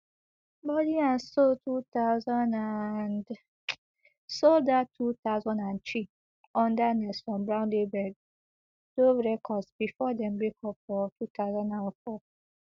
body and soul two thousand and sold out two thousand and three under nelson brown label dove records bifor dem breakup for two thousand and four